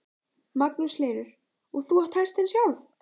Magnús Hlynur: Og þú átt hestinn sjálf?